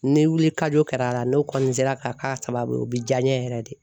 Ni wuli kajo kɛra a la, n'o kɔni sera ka k'a sababu ye o bɛ diya n ye yɛrɛ de.